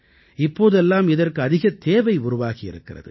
இப்போதெல்லாம் இதற்கு அதிகத் தேவை உருவாகியிருக்கிறது